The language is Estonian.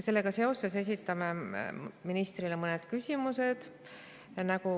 Sellega seoses esitame ministrile mõned küsimused.